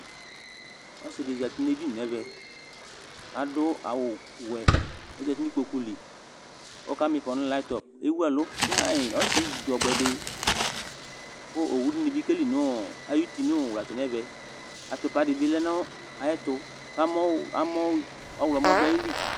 Ɔsɩ ɖɩ zati nʋ eɖini n' ɛmɛ, aɖʋ awʋ wɛOzati n'iƙpoƙu li, ewuɛlʋ ƒaƴ Ɔsɩ ɖzɔbʋɛɖɩOwu nɩ bɩ ƙeli nʋ aƴʋti nʋ ʋwlatsɛ n'ɛmɛ; atʋpa ɖɩ bɩ lɛ n' aƴɛtʋ ,ƙʋ ɔɣlɔmɔ ɖʋ aƴili